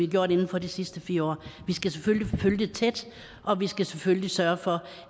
gjort inden for de sidste fire år vi skal selvfølgelig følge det tæt og vi skal selvfølgelig sørge for